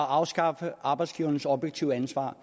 afskaffede arbejdsgivernes objektive ansvar